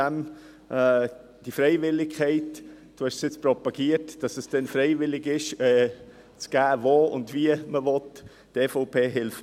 Trüssel propagiert, dass es freiwillig sein soll, wo und wie man etwas geben will.